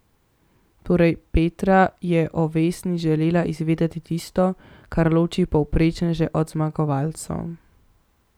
Torej, Petra je o Vesni želela izvedeti tisto, kar loči povprečneže od zmagovalcev.